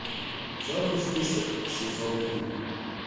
черный список сезон три